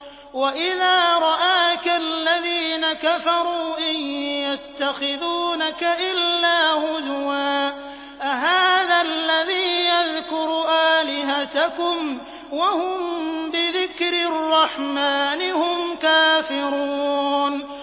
وَإِذَا رَآكَ الَّذِينَ كَفَرُوا إِن يَتَّخِذُونَكَ إِلَّا هُزُوًا أَهَٰذَا الَّذِي يَذْكُرُ آلِهَتَكُمْ وَهُم بِذِكْرِ الرَّحْمَٰنِ هُمْ كَافِرُونَ